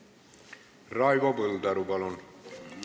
Raivo Põldaru, palun!